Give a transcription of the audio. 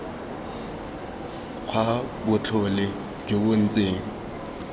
kgwa botlhole jo bo ntseng